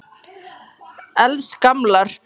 Helst gamlar.